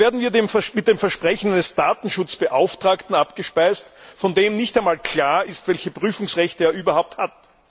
Da werden wir mit dem Versprechen eines Datenschutzbeauftragten abgespeist, von dem nicht einmal klar ist, welche Prüfungsrechte er überhaupt hat.